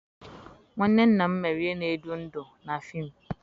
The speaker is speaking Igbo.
nwanne nna m mere ihe na-edu ndú na fim.